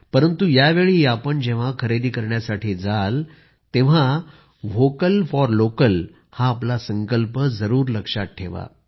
परंतु यावेळी आपण जेव्हा खरेदी करण्यासाठी जाल तेव्हा व्होकल फॉर लोकल हा आपला संकल्प जरूर लक्षात ठेवा